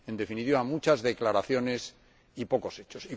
En definitiva, muchas declaraciones y pocos hechos.